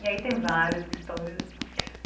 E aí tem várias histórias.